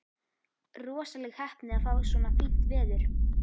Rosaleg heppni að fá svona fínt veður.